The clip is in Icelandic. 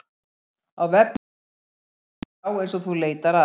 Á vefnum mun ekki vera til skrá eins og þú leitar að.